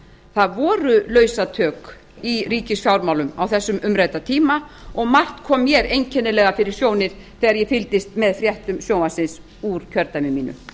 það voru lausatök í ríkisfjármálum á þessum umrædda tíma og margt kom mér einkennilega fyrir sjónir þegar ég fylgdist með fréttum sjónvarpsins úr kjördæmi mínu hæstvirtur